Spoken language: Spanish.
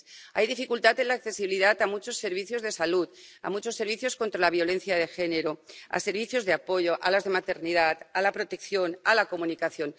Hay dificultad en la accesibilidad a muchos servicios de salud, a muchos servicios contra la violencia de género, a servicios de apoyo, a los de maternidad, a la protección, a la comunicación.